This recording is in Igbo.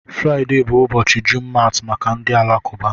Friday bụ ụbọchị Jumat maka ndị Alakụba.